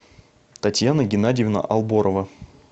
татьяна геннадьевна алборова